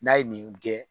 N'a ye nin gɛn